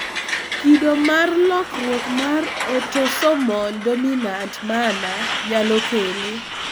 kido mar lokruok mar autosomol dominant manner nyalo kele